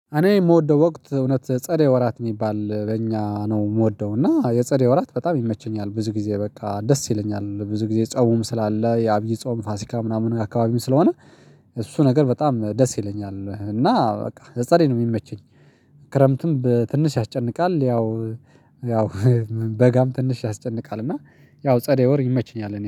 እኔ የምወደው ወቅት እውነት ጸደይ ወራት የሚባል በእኛ ነው የምወደው እና የጸደይ ወራት በጣም ይመቸኛል ብዙ ጊዜ በቃ ደስ ይለኛል ብዙ ጊዜ ጾሙም ስላለ የአብይ ጾም ፋሲካ ምናምን ከአካባቢውም ስለሆነ እሱ ነገር በጣም ደስ ይለኛል እና በቃ ጸደይ ነው የሚመቸኝ። ክረምትም ትንሽ ያስጨንቃል ያው። በጋም ትንሽ ያስጨንቃል እና። ያው ጸደይ ወር ይመችኛል